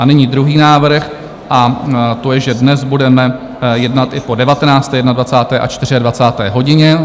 A nyní druhý návrh, a to je, že dnes budeme jednat i po 19., 21. a 24. hodině.